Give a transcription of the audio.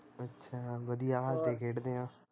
ਅੱਛਾ ਵਧੀਆ ਹੱਸਦੇ ਖੇਡਦੇ ਆ